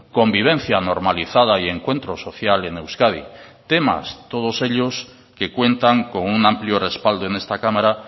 convivencia normalizada y encuentro social en euskadi temas todos ellos que cuentan con un amplio respaldo en esta cámara